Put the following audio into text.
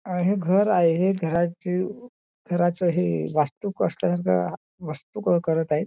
अह हे घर आहे. हे घराची घराचं हे वास्तू कष्टांचा वास्तू क करत आहे.